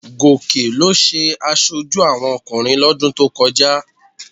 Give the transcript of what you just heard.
Gòkè ló jẹ aṣojú àwọn ọkùnrin lọ́dún tó kọjá